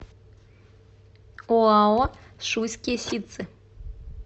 оао шуйские ситцы